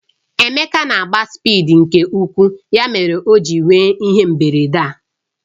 Emeka na-agba spịdi nke ukwuu ya mere o ji nwee ihe mberede a